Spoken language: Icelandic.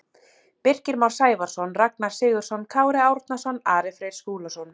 Birkir Már Sævarsson Ragnar Sigurðsson Kári Árnason Ari Freyr Skúlason